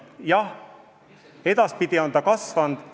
Jah, edaspidi on see summa kasvanud.